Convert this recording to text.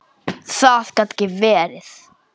Það gat ekki verið.